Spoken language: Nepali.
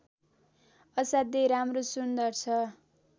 असाध्यै राम्रो सुन्दर छ